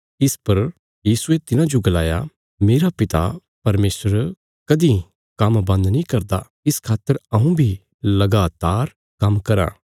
इस पर यीशुये तिन्हाजो गलाया मेरा पिता परमेशर कदीं काम्म बन्द नीं करदा इस खातर हऊँ बी लगातार काम्म कराँ